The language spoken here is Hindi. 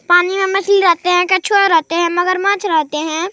पानी में मछली रहते हैं कछुआ रहते हैं मगरमच्छ रहते हैं।